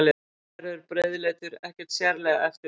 Gráhærður, breiðleitur, ekkert sérlega eftirminnilegur.